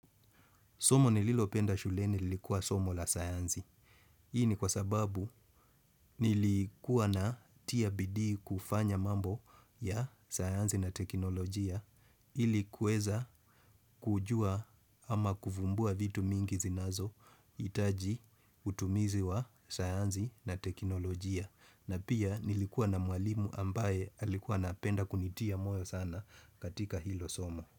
Somo nililopenda shule nilikuwa somo la sayanzi. Hii ni kwa sababu nilikuwa na tiabidii kufanya mambo ya sayansi na teknolojia ilikuweza kujua ama kuvumbua vitu mingi zinazo itaji utumizi wa sayansi na teknolojia. Na pia nilikuwa na mwalimu ambaye alikuwa na apenda kunitia moyo sana katika hilo somo.